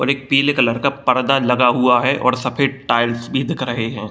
और एक पीले कलर का पर्दा लगा हुआ है और सफेद टाइल्स भी दिख रहे हैं |